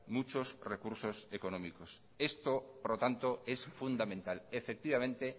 muchos recursos económicos esto por lo tanto es fundamental efectivamente